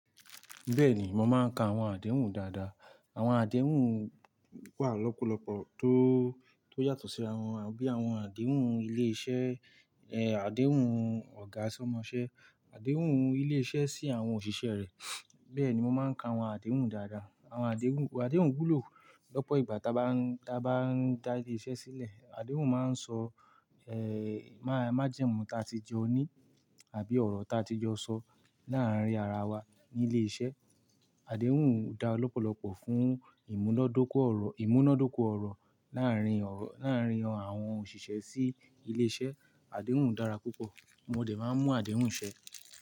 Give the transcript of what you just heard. Bẹ́ẹ̀ni, mo máa ń ka àwọn àdéhùn dáadáa. Àwọn àdéhùn wà lọ́pọ̀lọ́pọ̀ tó, tó yàtọ̀ sí ara wọn, bí i àwọn àdéhùn ilé iṣẹ́, àdéhùn ọ̀gá sọ́mọṣẹ́, àdéhùn ilé iṣẹ́ sí àwọn òṣìṣẹ́ rẹ̀. Bẹ́ẹ̀ ni mo máa ń ka àwọn àdéhùn dáadáa. Àwọn àdéhùn, àdéhùn wúlò lọ́pọ̀ ìgbà ta bá ń, ta bá ń dá ilé iṣẹ́ sílẹ̀. Àdéhùn máa ń sọ, ẹ́, má, májẹ̀mú ta ti jọ ní àbí ọ̀rọ̀ ta ti jọ sọ láàárín ara wa ní ilé iṣẹ́. Àdéhùn dá lọ́pọ̀lọ́pọ̀ fún ìmúnádókò ọ̀rọ̀, ìmúnádókò ọ̀rọ̀ láàárín ọ̀rọ̀, láàárín àwọn òṣìṣẹ́ sí ilé iṣẹ́. Àdéhùn dára púpọ̀, mo dẹ̀ máa ń mú àdéhùn ṣẹ́.